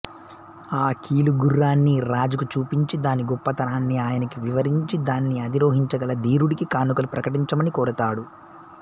ఆ కీలుగుర్రాన్ని రాజుకు చూపించి దాని గొప్పతనాన్ని ఆయనకి వివరించి దాన్ని అధిరోహించగల ధీరుడికి కానుకలు ప్రకటించమని కోరతాడు